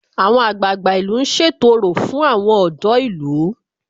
Àwọn àgbààgbà ìlú ń ṣètò orò fún àwọn ọ̀dọ́ ìlú